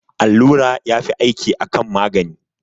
Allura yafi aiki akan magani